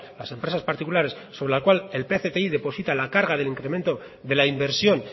las empresas particulares sobre la cual el pcti deposita la carga del incremento de la inversión